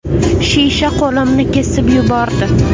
Shisha qo‘limni kesib yubordi.